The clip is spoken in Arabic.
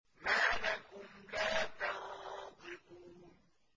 مَا لَكُمْ لَا تَنطِقُونَ